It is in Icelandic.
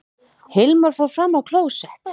Hilmar fór fram á klósett.